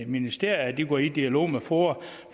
ministeriet at de går i dialog med foa